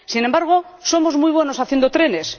Sin embargo, somos muy buenos haciendo trenes.